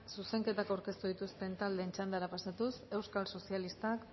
zuzenketa aurkeztu dituzten taldeen txandara pasatuz euskal sozialistak